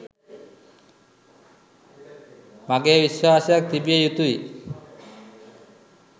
මගේ විශ්වාසයක් තිබිය යුතුයි.